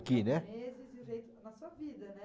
né? Japoneses e o jeito, na sua vida, né?